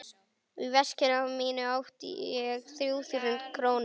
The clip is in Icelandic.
Í veskinu mínu átti ég þrjú þúsund krónur.